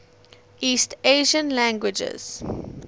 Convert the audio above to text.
east asian languages